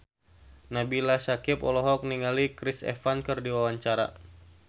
Nabila Syakieb olohok ningali Chris Evans keur diwawancara